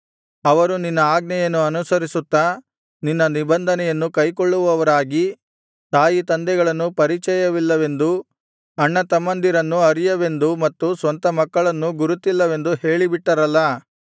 ಅವರು ನಿನ್ನ ಆಜ್ಞೆಯನ್ನು ಅನುಸರಿಸುತ್ತಾ ನಿನ್ನ ನಿಬಂಧನೆಯನ್ನು ಕೈಕೊಳ್ಳುವವರಾಗಿ ತಾಯಿತಂದೆಗಳನ್ನು ಪರಿಚಯವಿಲ್ಲವೆಂದೂ ಅಣ್ಣತಮ್ಮಂದಿರನ್ನು ಅರಿಯವೆಂದೂ ಮತ್ತು ಸ್ವಂತ ಮಕ್ಕಳನ್ನು ಗುರುತಿಲ್ಲವೆಂದೂ ಹೇಳಿಬಿಟ್ಟರಲ್ಲಾ